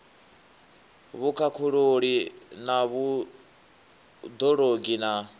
vhukhakhululi na vhud ologi na